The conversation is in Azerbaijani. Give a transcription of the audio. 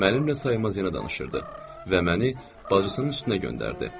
Mənimlə saymaz yana danışırdı və məni bacısının üstünə göndərdi.